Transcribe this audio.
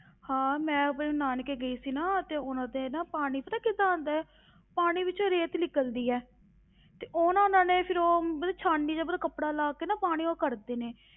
ਹਾਂ ਮੈਂ ਆਪਣੇ ਨਾਨਕੇ ਗਈ ਸੀ ਨਾ, ਤੇ ਉਨ੍ਹਾਂ ਦੇ ਨਾ ਪਾਣੀ ਪਤਾ ਕਿੱਦਾਂ ਆਉਂਦਾ ਹੈ, ਪਾਣੀ ਵਿੱਚ ਰੇਤ ਨਿਕਲਦੀ ਹੈ ਤੇ ਉਹ ਉਹਨਾਂ ਨੇ ਫਿਰ ਉਹ ਮਤਲਬ ਸਾਣਨੀ ਜਿਹਾ ਪਹਿਲਾਂ ਕੱਪੜਾ ਲਾ ਕੇ ਨਾ ਪਾਣੀ ਉਹ ਕੱਢਦੇ ਨੇ,